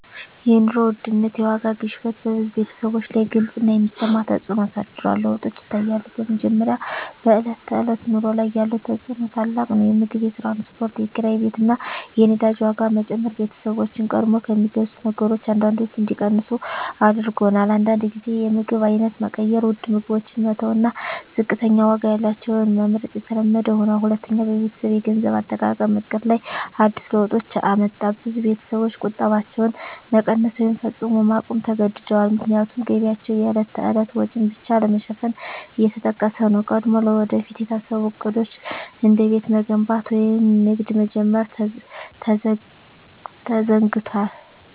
የኑሮ ውድነት (የዋጋ ግሽበት) በብዙ ቤተሰቦች ላይ ግልጽ እና የሚሰማ ተፅዕኖ አሳድሯል። ለውጦች ይታያሉ፦ በመጀመሪያ፣ በዕለት ተዕለት ኑሮ ላይ ያለው ተፅዕኖ ታላቅ ነው። የምግብ፣ የትራንስፖርት፣ የኪራይ ቤት እና የነዳጅ ዋጋ መጨመር ቤተሰቦችን ቀድሞ ከሚገዙት ነገሮች አንዳንዶቹን እንዲቀንሱ አድርጎአል። አንዳንድ ጊዜ የምግብ አይነት መቀየር (ውድ ምግቦችን መተው እና ዝቅተኛ ዋጋ ያላቸውን መመርጥ) የተለመደ ሆኗል። ሁለተኛ፣ በቤተሰብ የገንዘብ አጠቃቀም ዕቅድ ላይ አዲስ ለውጦች አመጣ። ብዙ ቤተሰቦች ቁጠባቸውን መቀነስ ወይም ፈጽሞ ማቆም ተገድደዋል፣ ምክንያቱም ገቢያቸው የዕለት ተዕለት ወጪን ብቻ ለመሸፈን እየተጠቀሰ ነው። ቀድሞ ለወደፊት የታሰቡ ዕቅዶች፣ እንደ ቤት መገንባት ወይም ንግድ መጀመር፣ ተዘግደዋል።